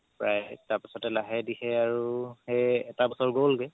প্ৰাই তাৰ পাছতে লাহে ধিৰে আৰু সেই এটা বছৰ গ'ল গে